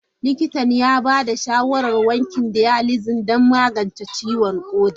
Likitan ya ba da shawarar wankin dialysis don magance ciwon koda.